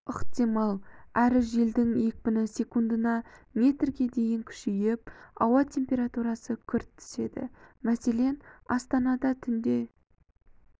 ықтимал әрі желдің екпіні секундына метрге дейін күшейіп ауа температурасы күрт түседі мәселен астанада түнде